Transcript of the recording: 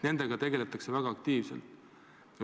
Nendega tegeldakse väga aktiivselt.